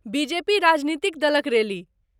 BJP राजनीतिक दलक रैली।